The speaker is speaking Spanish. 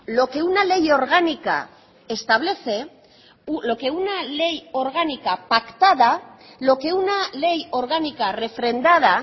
lo que una ley orgánica establece lo que una ley orgánica pactada lo que una ley orgánica refrendada